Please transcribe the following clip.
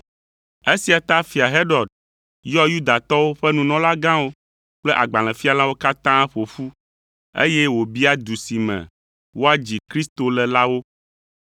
Esia ta Fia Herod yɔ Yudatɔwo ƒe nunɔlagãwo kple agbalẽfialawo katã ƒo ƒu, eye wòbia du si me woadzi Kristo le la wo.